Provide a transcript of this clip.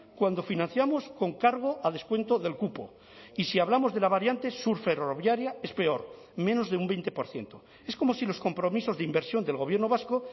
cuando financiamos con cargo a descuento del cupo y si hablamos de la variante sur ferroviaria es peor menos de un veinte por ciento es como si los compromisos de inversión del gobierno vasco